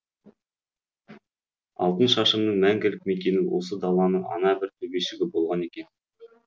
алтыншашымның мәңгілік мекені осы даланың ана бір төбешігі болған екен